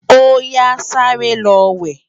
Óyá sàré lò wè